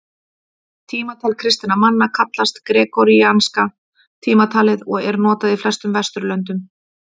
Tímatal kristinna manna kallast gregoríanska tímatalið og er notað í flestum Vesturlöndum.